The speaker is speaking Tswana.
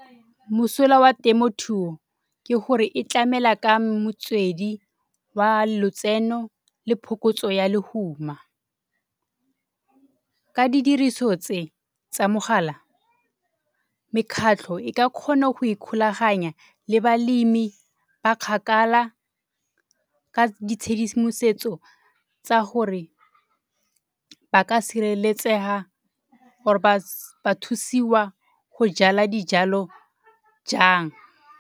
Mosola wa temothuo ke gore e tlamela ka motswedi wa lotseno le phokotso ya lehuma. Ka didiriso tse, tsa mogala mekgatlho e ka kgona go ikgolaganya le balemi ba kgakala ka ditshedimosetso tsa gore ba ka sireletsega ba thusiwa go jala dijalo jang.